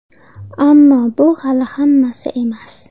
Ammo, bu hali hammasi emas!